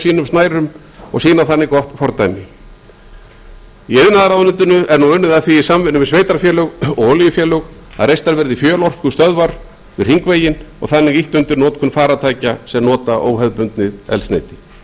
sínum snærum og sýna þannig gott fordæmi í iðnaðarráðuneytinu er nú unnið að því í samvinnu við sveitarfélög og olíufélög að reistar verði fjölorkustöðvar við hringveginn og þannig ýtt undir notkun farartækja sem nota óhefðbundið eldsneyti unnið